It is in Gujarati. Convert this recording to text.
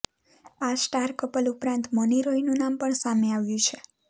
આ સ્ટાર કપલ ઉપરાંત મૌની રોયનું નામ પણ સામે આવ્યું છે